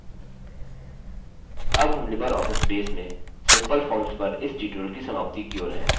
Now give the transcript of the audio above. अब हम LibreOffice Base में सिम्पल फॉर्म्स पर इस ट्यूटोरियल की समाप्ति की ओर हैं